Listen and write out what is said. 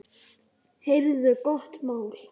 Heyrðu gott mál.